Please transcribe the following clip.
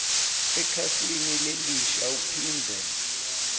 ekhasini lelisha uphindze